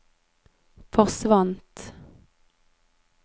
forsvant